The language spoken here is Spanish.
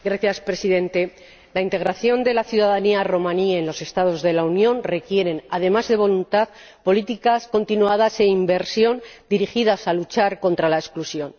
Señor Presidente, la integración de la ciudadanía romaní en los Estados de la Unión requiere, además de voluntad, políticas continuadas e inversión dirigidas a luchar contra la exclusión.